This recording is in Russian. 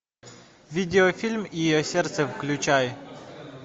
видеофильм ее сердце включай